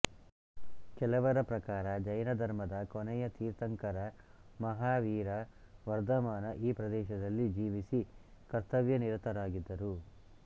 ಕೆಲವರ ಪ್ರಕಾರಜೈನ ಧರ್ಮದ ಕೊನೆಯ ತೀರ್ಥಂಕರಮಹಾವೀರ ವರ್ಧಮಾನ ಈ ಪ್ರದೇಶದಲ್ಲಿ ಜೀವಿಸಿ ಕರ್ತವ್ಯನಿರತರಾಗಿದ್ದರು